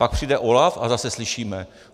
Pak přijde OLAF a zase slyšíme: